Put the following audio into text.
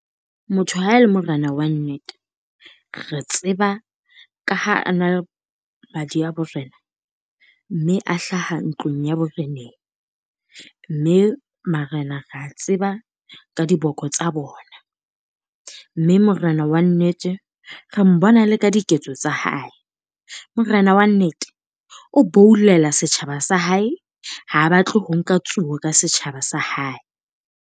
Motho ha e le morena wa nnete, re tseba ka ha a na madi a borena, mme a hlaha ntlong ya boreneng. Mme marena re a tseba ka diboko tsa bona. Mme morena wa nnete, re mbona le ka diketso tsa hae. Morena wa nnete o boulela setjhaba sa hae, ha batle ho nka tsuo ka setjhaba sa hae.